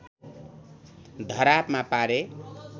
धरापमा पारे